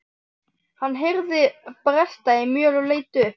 Hann heyrði bresta í möl og leit upp.